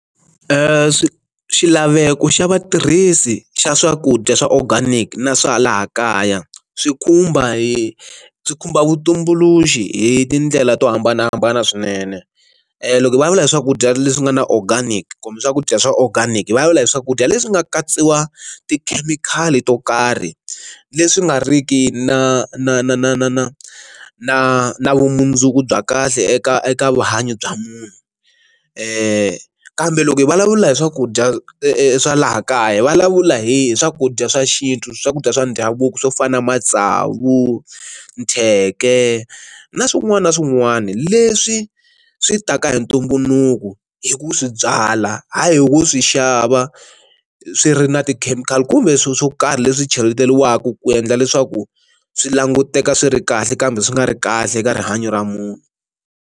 Xilaveko xa vatirhisi xa swakudya swa organic na swa laha kaya swi khumba hi swi khumba vutumbuluxi hi tindlela to hambanahambana swinene, loko hi vulavula hi swakudya leswi nga na organic kumbe swakudya swa organic vulavula hi swakudya leswi nga katsiwa tikhemikhali to karhi leswi nga riki na na na na na na na na vumundzuku bya kahle eka eka vuhanyo bya munhu, kambe loko hi vulavula hi swakudya swa laha kaya vulavula hi swakudya swa xintu swakudya swa ndhavuko swo fana na matsavu, thyeke na swin'wana na swin'wana leswi swi ta ka hi ntumbuluko hi ku swi byala hayi hi ku swi xava swi ri na ti-chemical kumbe swo swo karhi leswi cheletiwaka ku endla leswaku swi languteka swi ri kahle kambe swi nga ri kahle eka rihanyo ra munhu.